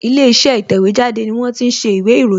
Ilé iṣẹ́ ìtẹ̀wẹ́ jáde ni wón ti ń ṣe ìwé ìròyìn